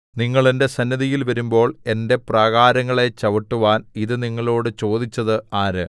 നിങ്ങൾ എന്റെ സന്നിധിയിൽ വരുമ്പോൾ എന്റെ പ്രാകാരങ്ങളെ ചവിട്ടുവാൻ ഇതു നിങ്ങളോടു ചോദിച്ചത് ആര്